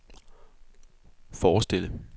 forestille